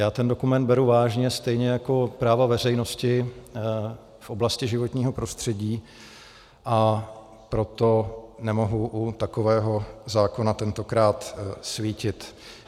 Já ten dokument beru vážně stejně jako práva veřejnosti v oblasti životního prostředí, a proto nemohu u takového zákona tentokrát svítit.